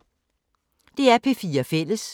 DR P4 Fælles